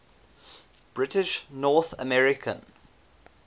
british north american